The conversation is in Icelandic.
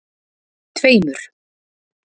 tveimur